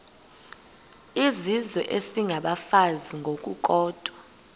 izizwe isengabafazi ngokukodwa